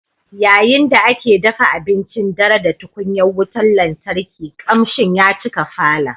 Yayin da ake dafa abincin dare da tukunyar wutar lantarki, kamshin ya cika falon